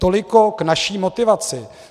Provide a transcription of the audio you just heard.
Toliko k naší motivaci.